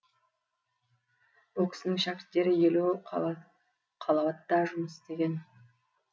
бұл кісінің шәкірттері елу қалауатта жұмыс істеген